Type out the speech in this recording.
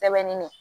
Sɛbɛnni na